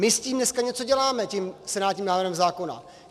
My s tím dneska něco děláme tím senátním návrhem zákona.